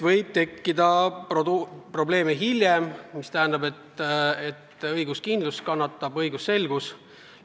Võib tekkida probleeme ja see tähendab, et õiguskindlus ja õigusselgus kannatab.